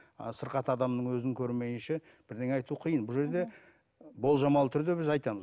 ы сырқат адамның өзін көрмейінше бірдеңе айту қиын бұл жерде болжамалы түрде біз айтамыз